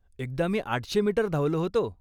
एकदा मी आठशे मीटर धावलो होतो